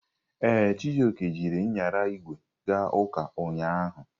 Ee, Chijioke jiri nyara ígwè ga ụka ụnyahụ.